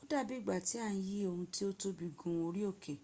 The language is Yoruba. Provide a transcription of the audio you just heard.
odabi igba ti a n yi ohun ti o tobi gun ori oke